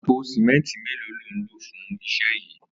Àpó simẹntí méló ló n ló fùn iṣẹ yi?